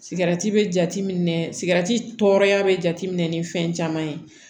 Sigarɛti bɛ jate minɛ sigati tɔɔrɔya bɛ jateminɛ ni fɛn caman ye